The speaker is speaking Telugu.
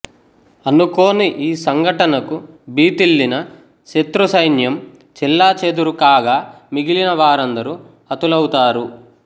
అనుకోని ఈ సంఘటనకు భీతిల్లిన సత్రు సైన్యంమ్ చెల్లచెదురు కాగ మిగిలిన వారందరూ హాతులౌతారు